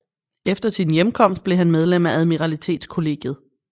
Efter sin hjemkomst blev han medlem af Admiralitetskollegiet